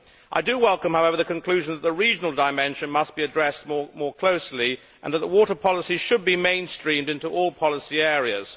I welcome, however, the conclusion that the regional dimension must be addressed more closely and that water policy should be mainstreamed into all policy areas.